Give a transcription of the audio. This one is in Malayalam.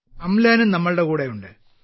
അംലാനും നമ്മുടെ കൂടെയുണ്ട്